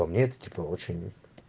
по мне это типа очень